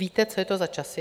Víte, co je to za časy?